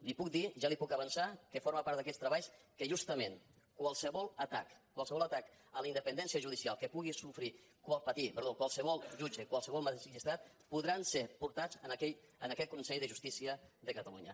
li puc dir ja li ho puc avançar que forma part d’aquests treballs que justament qualsevol atac qualsevol atac a la independència judicial que pugui patir qualsevol jutge qualsevol magistrat podrà ser portat a aquest consell de justícia de catalunya